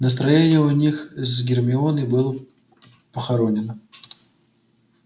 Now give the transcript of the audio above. настроение у них с гермионой было похоронено